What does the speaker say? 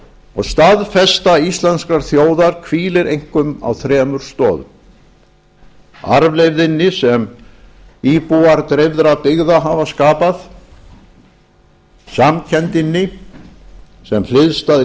og staðfesta íslenskrar þjóðar hvílir einkum á þremur stoðum arfleifðinni sem íbúar dreifðra byggða hafa skapað samkenndinni sem hliðstæð